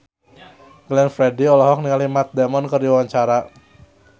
Glenn Fredly olohok ningali Matt Damon keur diwawancara